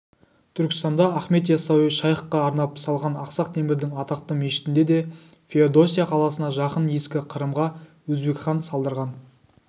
түркістанда ахмет яссауи шайхқа арнап салған ақсақ темірдің атақты мешітіне де феодосия қаласына жақын ескі қырымға өзбекхан салдырған